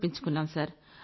సంకల్పించుకున్నాం